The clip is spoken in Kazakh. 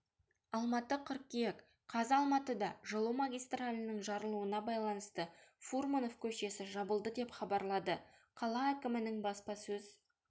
алматы қыркүйек қаз алматыда жылу магистралінің жарылуына байланысты фурманов көшесі жабылды деп хабарлады қала әкімінің баспасөз